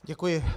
Děkuji.